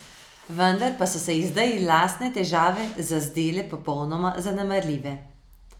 Vendar pa so se ji zdaj lastne težave zazdele popolnoma zanemarljive.